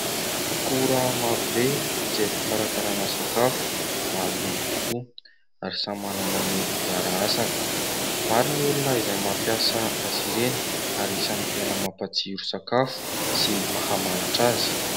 Akora maro be izay fikarakarana sakafo maro loko tokoa ary samy manana ny anjara asany. Maro ny olona izay mampiasa azy ireny ary isany tena mampatsiro sakafo sy mahamanitra azy.